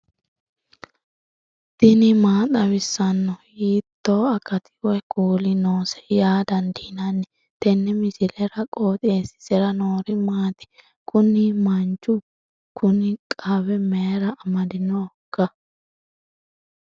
tini maa xawissanno ? hiitto akati woy kuuli noose yaa dandiinanni tenne misilera? qooxeessisera noori maati? kuni manchu kuni qawe mayra amadinoiika